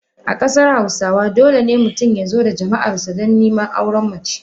A kasar hausawa, dole ne mutum ya zo da jama’arsa don neman auren mace.